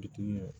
Bitiki